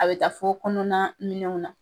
A be taa fo kɔnɔna minɛnw na